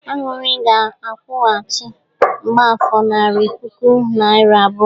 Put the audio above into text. Aṅụrị ga akwụghachi mgbafor narị puku naịra abụọ.